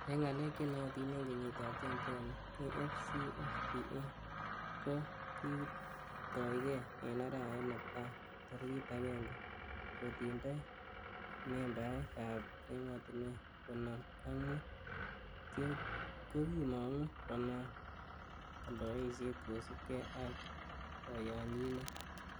En ngalek che nootin en kenyitab 2012,AfCFTA kokitoigei en arawet netai tarigit agenge, kotindoi membaek ab emotinwek konoom ak mut, kokimongu konaam oldoisiet kosiibge ak koyonyinet.